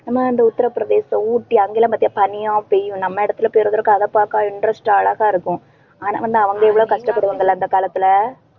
நம்ம இந்த உத்திர பிரதேசம், ஊட்டி அங்கெல்லாம் பாத்தினா பனியா பெய்யும். நம்ம இடத்துல பெய்யறத விட அதை பார்க்க interest அழகா இருக்கும். ஆனா வந்து அவங்க எவ்ளோ கஷ்டப்படுவாங்கல்ல அந்த காலத்துல